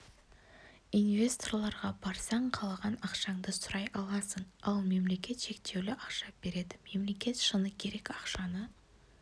инвесторларға барсаң қалаған ақшаңды сұрай аласың ал мемлекет шектеулі ақша береді мемлекет шыны керек ақшаны